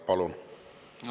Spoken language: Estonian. Palun!